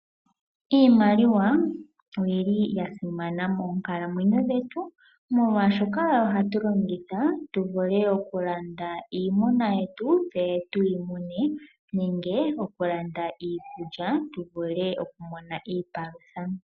Iimaliwa oya simana moonkalamwenyo dhetu, molwashoka oyo hatu longitha tuvule okulanda iimuna yetu tse tuyimune nenge okulanda iikulya tuvule okumona iipalutha.